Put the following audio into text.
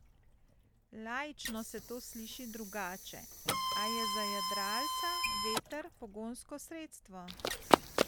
Laično se to sliši drugače, a je za jadralca veter pogonsko sredstvo.